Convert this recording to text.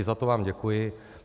I za to vám děkuji.